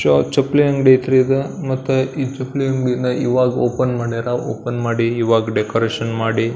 ಚೊ ಚಪ್ಪಲಿ ಅಂಗಡಿ ಅಯ್ತ್ರಿ ಇದು ಮತ್ತ ಈ ಚಪ್ಲಿ ಅಂಗಾಡಿನ ಈವಾಗ ಓಪನ್ ಮಾಡ್ಯಾರ ಓಪನ್ ಮಾಡಿ ಈವಾಗ ಡೆಕೋರೇಷನ್ ಮಾಡಿ --